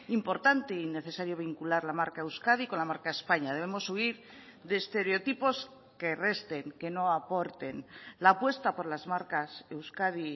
importante y necesario vincular la marca euskadi con la marca españa debemos subir de estereotipos que resten que no aporten la apuesta por las marcas euskadi y